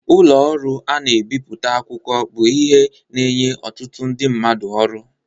ụlọ ọrụ ana ebipụta akwụkwọ bụ ihe na enye ọtụtụ ndị mmadụ ọrụ.